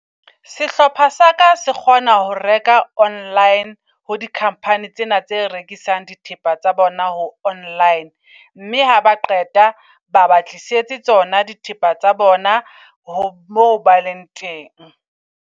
Sehlopha sa ka se kgona ho reka online ho di -company tsena tse rekisang dithepa tsa bona ho online. Mme haba qeta ba ba tlisetse tsona dithepa tsa bona moo ba leng teng.